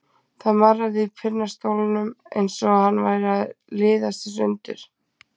Það marraði í pinnastólnum eins og hann væri að liðast í sundur.